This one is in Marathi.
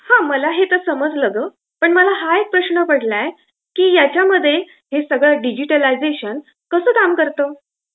हा. मला हे आता समजलं गं; पण मला हा एक प्रश्न पडलाय की याच्यामध्ये हे सगळं डिजिटलायझेशन कसं काम करतं?